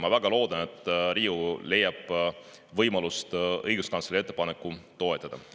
Ma väga loodan, et Riigikogu leiab võimaluse õiguskantsleri ettepanekut toetada.